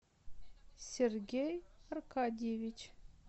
сергей аркадьевич